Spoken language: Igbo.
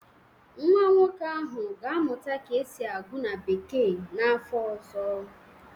Nwa nwoke ahụ ga-amụta ka esi agụ na bekee n'afọ ọzọ